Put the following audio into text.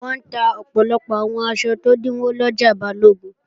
Wọ́n ń ta ọ̀pọ̀lọpọ̀ àwọn aṣọ tó dínwó lọjà Balógun